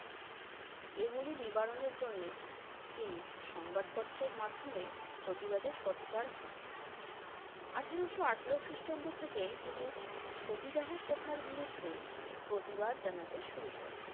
এগুলি নিবারণের জন্যে তিনি সংবাদপত্রের মাধ্যমে প্রতিবাদে সোচ্চার হন। আঠারশো আঠারো খ্রিষ্টাব্দ থেকেই তিনি সতীদাহ প্রথার বিরুদ্ধে প্রতিবাদ জানাতে শুরু করেন।